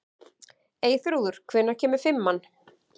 Eyþrúður, hvenær kemur fimman?